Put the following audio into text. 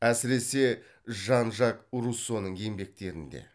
әсіресе жан жак руссоның еңбектерінде